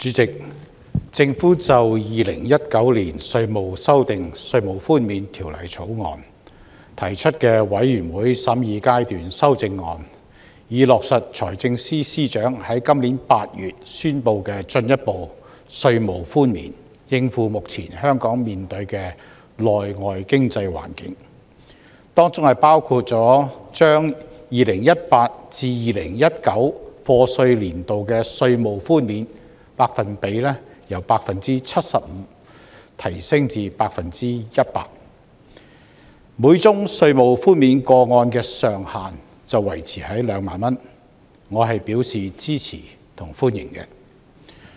主席，政府就《2019年稅務條例草案》提出的全體委員會審議階段修正案，以落實財政司司長於今年8月中宣布的進一步稅務寬免，應付目前香港面對的內外經濟環境，當中包括將 2018-2019 課稅年度的稅務寬免百分比由 75% 提升至 100%， 每宗稅務寬免個案的上限維持在2萬元，我表示支持和歡迎。